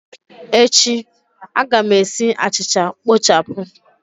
Echi, a ga m esi achịcha kpochapụ